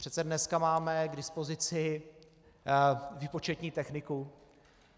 Přece dneska máme k dispozici výpočetní techniku.